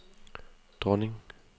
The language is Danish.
dronning